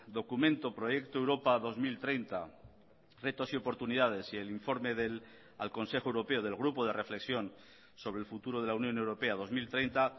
documento proyecto europa dos mil treinta retos y oportunidades y el informe al consejo europeo del grupo de reflexión sobre el futuro de la unión europea dos mil treinta